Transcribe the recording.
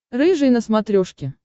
рыжий на смотрешке